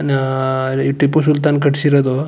ನಾ ಈ ಟಿಪ್ಪು ಸುಲ್ತಾನ್ ಕಟ್ಟ್ ಸಿರೋದು.